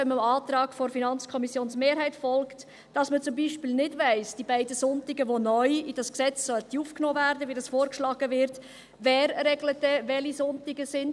Wenn man dem Antrag der FiKo-Mehrheit folgen würde, hiesse dies, dass man zum Beispiel bezüglich der beiden Sonntage, welche neu in dieses Gesetz aufgenommen werden sollen, wie es vorgeschlagen wird, nicht weiss, wer denn regelt, welche Sonntage es sind.